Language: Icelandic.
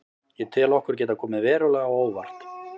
Ég tel okkur geta komið verulega á óvart.